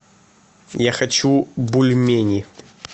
я хочу бульмени